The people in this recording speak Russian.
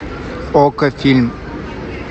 окко фильм